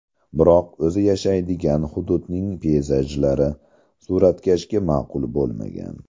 Biroq o‘zi yashaydigan hududning peyzajlari suratkashga ma’qul bo‘lmagan.